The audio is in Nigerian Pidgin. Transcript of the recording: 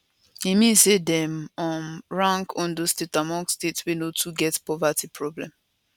e mean say dem um rank ondo state among states wey no too get poverty problem